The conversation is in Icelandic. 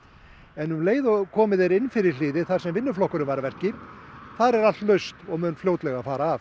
en um leið og komið er inn fyrir hliðið þar sem vinnuflokkurinn var að verki þar er allt laust og mun fljótlega fara af